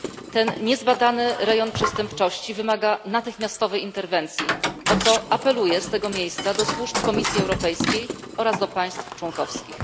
Ten niezbadany rejon przestępczości wymaga natychmiastowej interwencji, o co apeluję z tego miejsca do służb Komisji Europejskiej oraz do państw członkowskich.